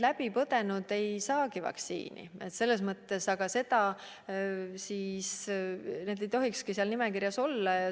Läbi põdenud ei saagi vaktsiini ja nad ei tohikski seal nimekirjas olla.